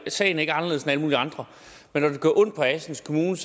sagen ikke anderledes end alle mulige andre men når det gør ondt på assens kommune